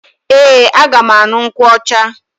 Ee, aga m aṅụ nkwụ ọcha.